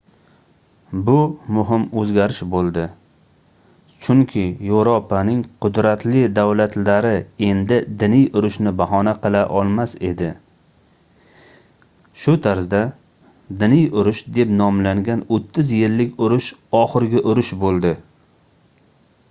bu muhim oʻzgarish boʻldi chunki yevropaning qudratli davlatlari endi diniy urushni bahona qila olmas edi shu tarzda diniy urush deb nomlangan oʻttiz yillik urush oxirgi urush boʻldi